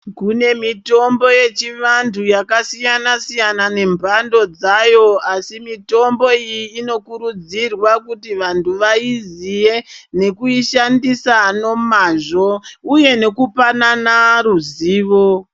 Kune mitombo yechivantu yakasiyana siyana nemhando dzayo asi mitombo iyi inokurudzirwa kuti vantu vaiziye nekuishandisa nomazvo uye nekupanana ruzivo.